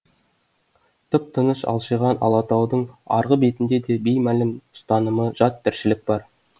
тып тыныш алшиған алатаудың арғы бетінде де беймәлім ұстанымы жат тіршілік бар